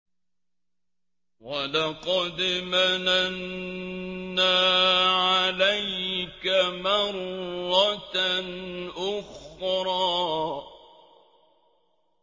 وَلَقَدْ مَنَنَّا عَلَيْكَ مَرَّةً أُخْرَىٰ